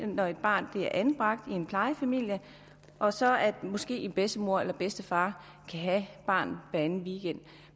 når et barn bliver anbragt i en plejefamilie og så måske en bedstemor eller bedstefar kan have barnet hveranden weekend